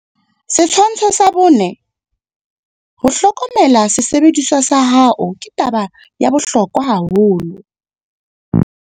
Setshwantsho 4. Ho hlokomela sesebediswa sa hao ke taba ya bohlokwa haholo.